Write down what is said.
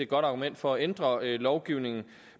godt argument for at ændre lovgivningen